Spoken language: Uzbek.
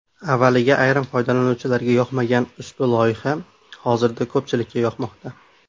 Avvaliga ayrim foydalanuvchilarga yoqmagan ushbu loyiha hozirda ko‘pchilikka yoqmoqda.